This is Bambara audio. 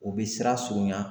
U bi siran surunya.